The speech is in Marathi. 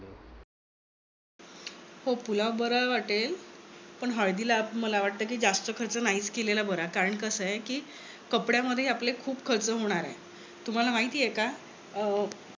हो पुलाव बरा वाटेल. पण हळदीला मला वाटतंय कि जास्त खर्च नाहीच केलेला बरा. कारण कसं आहे कि कपड्यामध्ये आपले खूप खर्च होणार आहेत.